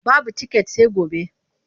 Babu tiket sai gobe.